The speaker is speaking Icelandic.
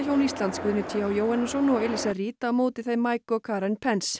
Íslands Guðni t h Jóhannesson og Elíza Reid á móti þeim Mike og Karen